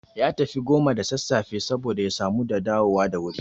Ya tafi goma da sassafe saboda ya samu da dawo da wuri